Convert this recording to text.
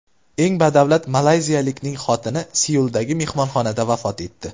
Eng badavlat malayziyalikning xotini Seuldagi mehmonxonada vafot etdi.